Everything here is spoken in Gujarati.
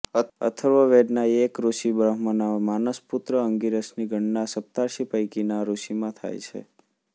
અથર્વવેદના એક ઋષિ બ્રહ્માના માનસપુત્ર અંગિરસની ગણના સપ્તર્ષિ પૈકિના ઋષિમાં થાય છે